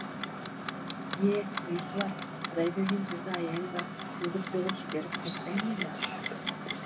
е несі бар құдай берген сөзді аяйын ба төгіп төгіп жіберіп қайтпаймын ба